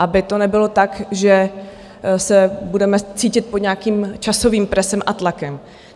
Aby to nebylo tak, že se budeme cítit pod nějakým časovým presem a tlakem.